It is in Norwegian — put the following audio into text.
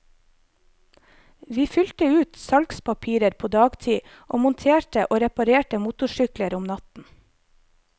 Vi fylte ut salgspapirer på dagtid og monterte og reparerte motorsykler om natten.